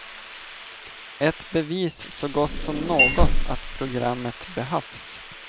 Ett bevis så gott som något att programmet behövs.